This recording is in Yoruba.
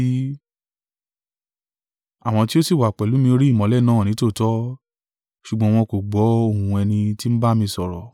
Àwọn tí ó sì wà pẹ̀lú mi rí ìmọ́lẹ̀ náà nítòótọ́, ṣùgbọ́n wọn kò gbọ́ ohùn ẹni tí ń bá mi sọ̀rọ̀.